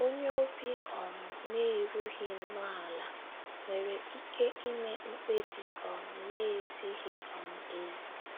Onye obi um na - erughị nnọọ ala nwere ike ime mkpebi um na - ezighị um ezi.